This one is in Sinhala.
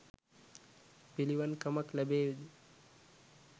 පිළිවන් කමක් ලැබේවි ද?